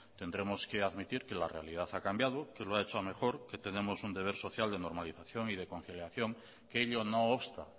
tendremos que admitir que la realidad ha cambiado que lo ha hecho a mejor que tenemos un deber social de normalización y de conciliación que ello no obsta